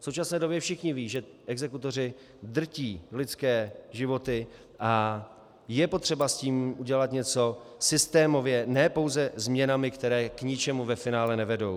V současné době všichni vědí, že exekutoři drtí lidské životy, a je potřeba s tím udělat něco systémově, ne pouze změnami, které k ničemu ve finále nevedou.